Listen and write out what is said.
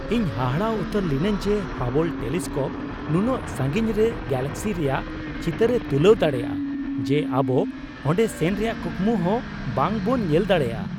ᱤᱧ ᱦᱟᱦᱟᱲᱟ ᱩᱛᱟᱹᱨ ᱞᱤᱱᱟᱹᱧ ᱡᱮ ᱦᱟᱵᱚᱞ ᱴᱮᱞᱤᱥᱠᱳᱯ ᱱᱩᱱᱟᱹᱜ ᱥᱟᱺᱜᱤᱧ ᱨᱮ ᱜᱮᱞᱟᱠᱥᱤ ᱨᱮᱭᱟᱜ ᱪᱤᱛᱟᱨᱮ ᱛᱩᱞᱟᱹᱣ ᱫᱟᱲᱮᱭᱟᱜᱼᱟ ᱡᱮ ᱟᱵᱚ ᱚᱸᱰᱮ ᱥᱮᱱ ᱨᱮᱭᱟᱜ ᱠᱩᱠᱢᱩ ᱦᱚᱸ ᱵᱟᱝ ᱵᱚᱱ ᱧᱮᱞ ᱫᱟᱲᱮᱭᱟᱜᱼᱟ ᱾